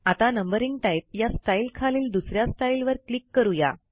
आता numbering type या स्टाईलखालील दुस या स्टाईलवर क्लिक करू या